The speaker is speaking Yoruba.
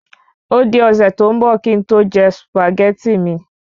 Ódi ọ̀sẹ̀ tó ń bò kín n to je Sùpàgẹ́tì mi